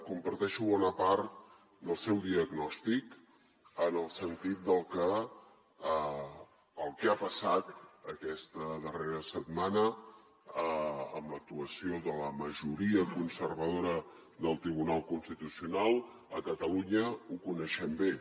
comparteixo bona part del seu diagnòstic en el sentit de que el que ha passat aquesta darrera setmana amb l’actuació de la majoria conservadora del tribunal constitucional a catalunya ho coneixem bé